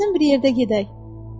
İstirsən bir yerdə gedək.